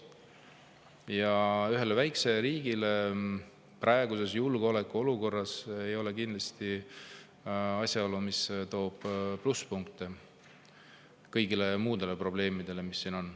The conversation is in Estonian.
Ja ühes väikeses riigis ei ole see praeguses julgeolekuolukorras kindlasti asi, mis kõiki muid probleemele, mis siin on.